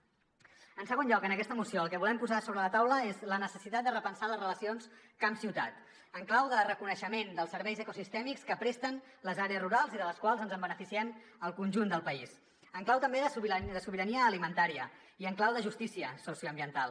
en segon lloc en aquesta moció el que volem posar sobre la taula és la necessitat de repensar les relacions camp ciutat en clau de reconeixement dels serveis ecosistèmics que presten les àrees rurals i de les quals ens beneficiem el conjunt del país en clau també de sobirania alimentària i en clau de justícia socioambiental